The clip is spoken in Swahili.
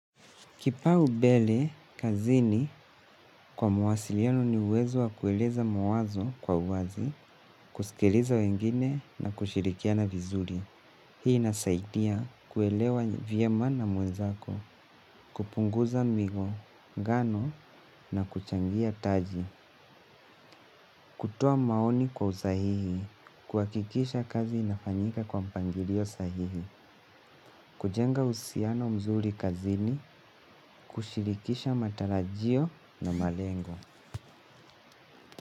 Kipaumbele kazini kwa mawasiliano ni uwezo wa kueleza mawazo kwa uwazi, kusikiliza wengine na kushirikiana vizuri. Hii inasaidia kuelewana vyema na mwenzako, kupunguza migongano na kuchangia taji. Kutoa maoni kwa usahihi, kuhakikisha kazi inafanyika kwa mpangilio sahihi, kujenga uhusiano mzuri kazini, kushirikisha matarajio na malengo.